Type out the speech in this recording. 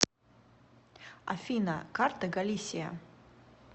афина карта галисия